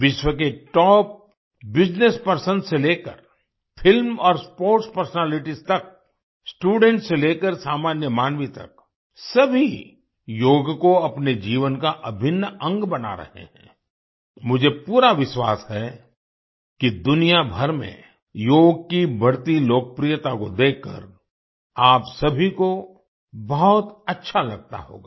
विश्व के top business person से लेकर फिल्म और स्पोर्ट्स पर्सनैलिटीज तक स्टूडेंट्स से लेकर सामान्य मानवी तक सभी योग को अपने जीवन का अभिन्न अंग बना रहे हैं आई मुझे पूरा विश्वास है कि दुनिया भर में योग की बढ़ती लोकप्रियता को देखकर आप सभी को बहुत अच्छा लगता होगा